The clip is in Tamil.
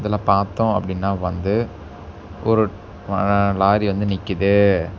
பார்த்தோ அப்படின்னா வந்து ஒரு லாரி வந்து நிக்கிது.